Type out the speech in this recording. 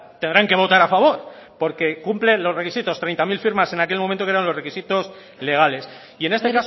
tendrán que votar a favor porque cumple los requisitos treinta mil firmas en aquel momento que eran los requisitos legales y en este